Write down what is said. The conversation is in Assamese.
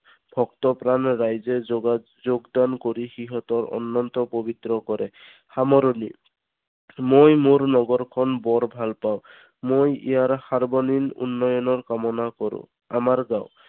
ভক্ত প্ৰাণ ৰাইজে যোগা যোগদান কৰি সিহঁতৰ অন্ননত পৱিত্ৰ কৰে। সামৰণি মই মোৰ নগৰ খন বৰ ভাল পাওঁ। মই ইয়াৰ সাৰ্বনীন উন্নয়নৰ কামনা কৰো। আমাৰ গাওঁ